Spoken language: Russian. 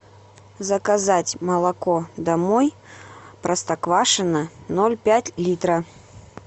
заказать молоко домой простоквашино ноль пять литра